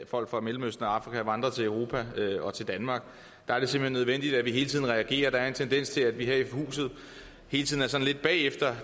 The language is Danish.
folk fra mellemøsten og afrika vandrer til europa og til danmark der er det simpelt hen nødvendigt at vi reagerer der er en tendens til at vi her i huset hele tiden er sådan lidt bagefter